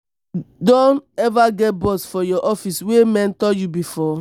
you don eva get boss for your office wey mentor you before?